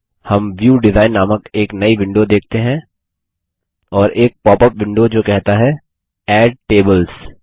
हम view design नामक एक नई विंडो देखते हैं और एक पॉपअप विंडो जो कहता है एड टेबल्स